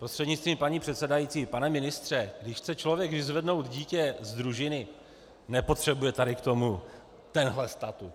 Prostřednictvím paní předsedající pane ministře, když chce člověk vyzvednout dítě z družiny, nepotřebuje tady k tomu tenhle statut.